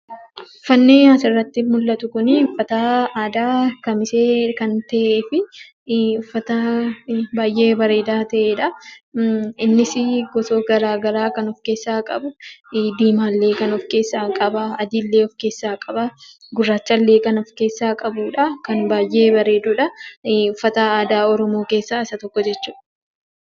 Uffanni asirratti mul'atu uffata aadaa kamisee kan ta'ee fi uffata baay'ee bareedaa ta'edha. Innis gosa garaagaraa kan of keessaa qabu diimaallee of keessaa qaba. Adiillee of keessaa qaba gurraachallee kan of keessaa qabudha. Kan baay'ee bareedudha uffata aadaa oromoo keessaa isa tokko jechuudha.